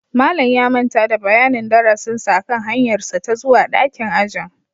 Malam ya manta da bayanin darasinsa akan hanyarsa ta zuwa dakin ajin